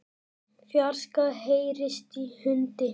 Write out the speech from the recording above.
fjarska heyrist í hundi.